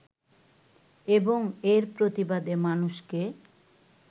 এবং এর প্রতিবাদে মানুষকে